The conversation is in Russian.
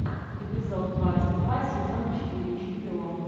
эпизод двадцать два сезон четыре чемпион